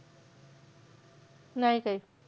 नाही काहीच.